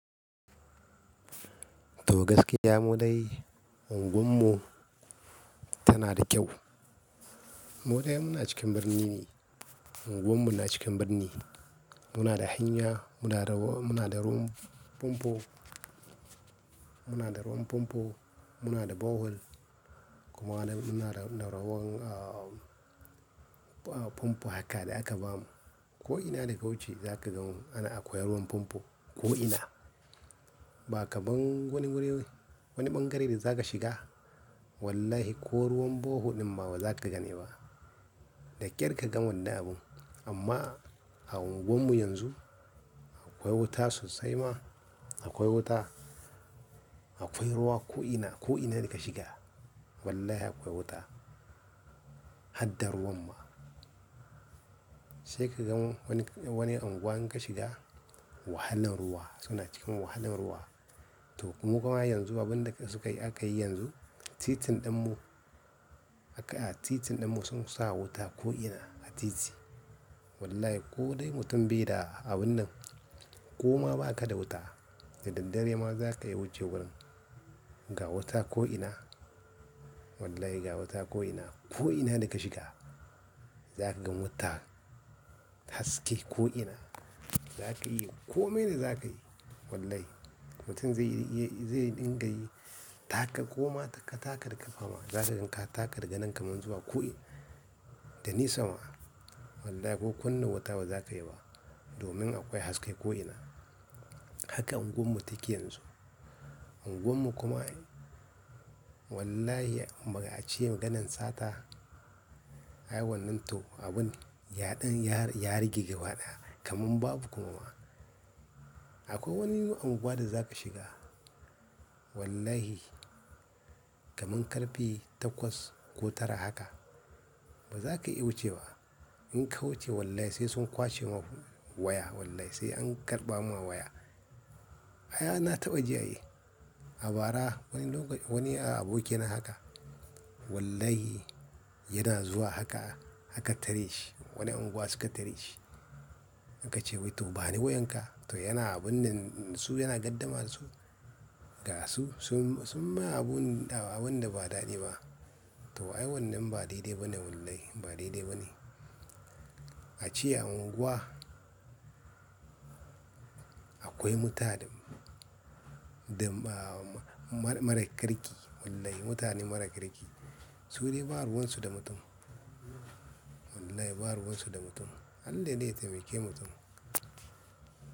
To gaskiya mu dai unguwar mu tana da kyau. Moɗe muna cikin birni ne, unguwar mu na cikin birni. Muna da hanyar, muna da ruwan famfo, muna da ruwan famfo muna da bohol kuma muna da ruwan famfo haka da aka ba mu. Ko'ina da ka wuce za ka ga akwai ruwan famfo ko'ina. Ba kamar wani wurare, wani ɓangare da za ka shiga wallahi ko ruwan bohol ɗin ma baza ka gane ba, da ƙyar ka gan wani abu. Amma a unguwar mu yanzu akwai wuta sosai ma, akwai wuta, akwai ruwa ko'ina, ko'ina da ka shiga wallahi akwai wuta, haɗa ruwan ma. Sai ka gan wani, wani unguwa in ka shiga wahalan ruwa, suna cikin wahalan ruwa. To kuma yanzu abin da suka yi aka yi yanzu, titin ɗin mu, haka a titin ɗin mu sun sa wuta ko'ina a titi. Wallahi ko dai mutum bai da abin nan ko ma ba ka da wuta, da daddare ma za ka yi wuce wurin, ga wuta ko'ina. Wallahi ga wuta ko'ina, ko'ina da ka shiga za ka gan wuta haske ko'ina. Za ka iya komai ne za ka yi wallahi. Mutum zai dinga yi taka ko ma taka, taka da ƙafa ma za ka gan ka taka daga nan kaman zuwa ko'ina, da nisa ma. Wallahi ko kunna wuta ba za ka yi ba domin akwai haske ko'ina. Haka unguwar mu take yanzu. Unguwar mu kuma wallahi a ce maganan sata ai wannan to abun yaɗin yari, yari gigewa ɗaya kaman babu kuma ma. Akwai wani unguwa da zaka shiga wallahi kamar ƙarfe takwas ko tara haka ba zaka iya wucewa ba, in ka wuce wallahi sai kwashe ma waya sai an karɓa ma waya. Ai na taɓa ji ai a bara wani abokina haka wallahi yana zuwa haka, haka aka tare shi wani unguwa suka tare shi. An ka ce wai to bani wayan ka? To yana abun nan dasu yana gardama dasu. Ga su sun mai abunda wanda ba daɗi ba to ai wannan ba daidai ba ne wallahi ba daidai ba ne. A ce a unguwa akwai mutane mara kirki wallahi mutane mara kirki. Su dai ba ruwan su da mutum. Wallahi ba ruwan su da mutum. Halle ne taimake mutum.